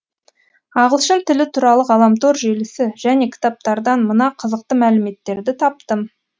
ағылшын тілі туралы ғаламтор желісі және кітаптардан мына қызықты мәліметтерді таптым